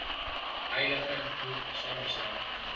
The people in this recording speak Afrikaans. heilige boek saamgestel